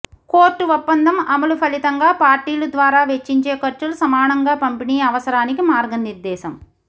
court ఒప్పందం అమలు ఫలితంగా పార్టీలు ద్వారా వెచ్చించే ఖర్చులు సమానంగా పంపిణీ అవసరానికి మార్గనిర్దేశం